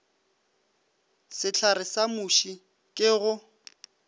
sehlare sa muši ke go